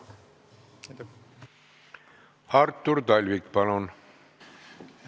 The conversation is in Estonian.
Artur Talvik, palun!